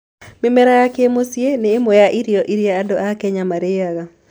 Mĩmera ya kĩmũciĩ nĩ ĩmwe ya irio iria andũ a Kenya marĩaga.